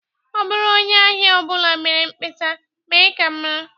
Ọ bụrụ onye ahịa ọ bụla mee mkpesa, mee ka m mara